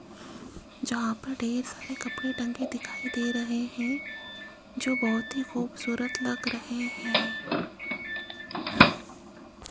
जहां पर ढेर सारे कपड़े टंगे दिखाई दे रहे है जो बहोत ही खूबसूरत लग रहे है।